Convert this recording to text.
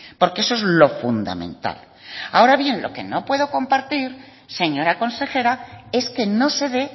porque eso es lo fundamental ahora bien lo que no puedo compartir señora consejera es que no se dé